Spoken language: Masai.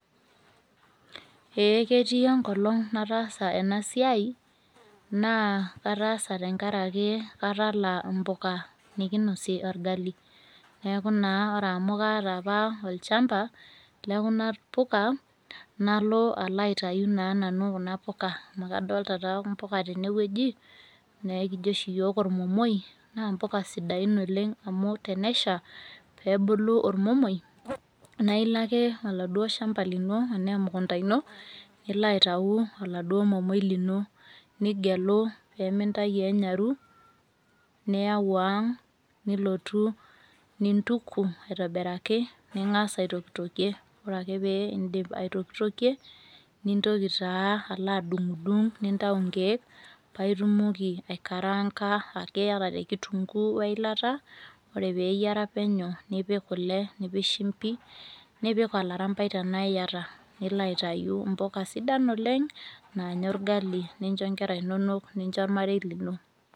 ee ketii enkolong nataasa ena siai, naa kataasa tenkaraki katala mpuka nikinosie orgali, neeku naa ore amu kaata apa olchampa lekuna puka, nalo alo aitayu naa nanu kuna puka, amu kadoolta taa mpuka tene wueji, naa ekijo oshi iyiook olmomoi, naa mpuka sidain oleng, amu tenesha pee ebulu olomomoi, naa ilo ake oladuoo shampa lino anaa emukunta ino, nilo aitayu oladuoo momoi, lino, nigelu, pee mintayu wenyaru, niyau ang' nilotu nintuku aitobiraki, ningas aitokitokie, ore ake pee iidip aitokitokie, nintoki taa alo adung'idung' nintayu inkeek, paa itumoki aikaranka te kitunkuu weilata, ore pee eyiara penyo, nipik kule, nipik kule pikik shumpi, nipik olarampai tenaa iyat, nilo aitayu impuka sidain oleng naanya orgali, nincho nkera iinonok, nincho olmarei lino.